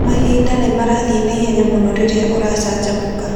Mahinda nĩ marathiĩ na ihenya mũno rĩrĩa ũracanjamũka.